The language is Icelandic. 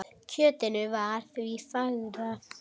Kjötinu var því fargað.